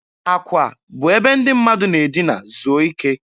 Akwa bụ ebe ndị mmadụ na-edina zuo ike.